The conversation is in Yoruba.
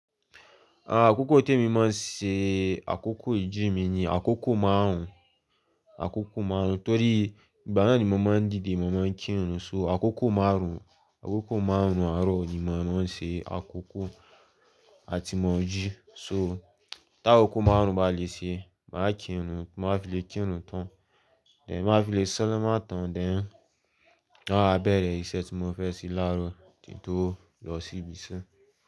Akoko to mi maa n se akoko ijimi ni akoko marun, akoko marun. Nitori igba naa ni mó máa n dide, mó máa n kinrun so akoko marun, akoko marun aro ni ma n ran se akoko ati mo n jí so ta koko marun ba le se, ma ki irun, tí ma wà filè kinrun tan, then tí ma wà filè salama tan then ma wà bere ise ti mo fe se laaro, kí n to lo si ibi ise.